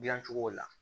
Dilancogo la